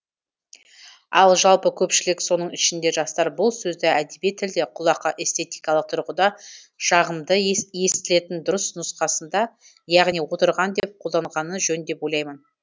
ал жалпы көпшілік соның ішінде жастар бұл сөзді әдеби тілде құлаққа эстетикалық тұрғыда жағымды естілетін дұрыс нұсқасында яғни отырған деп қолданғаны жөн деп ойлаймын